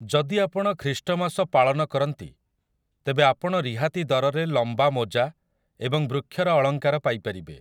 ଯଦି ଆପଣ ଖ୍ରୀଷ୍ଟମାସ ପାଳନ କରନ୍ତି, ତେବେ ଆପଣ ରିହାତି ଦରରେ ଲମ୍ବାମୋଜା ଏବଂ ବୃକ୍ଷର ଅଳଙ୍କାର ପାଇପାରିବେ ।